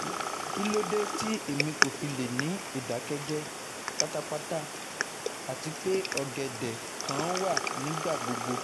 Kilode ti emi kò fi le ni idakẹ́jẹ́ patapata ati pe ọ̀gẹ̀dẹ́ kan wa nigbagbogbo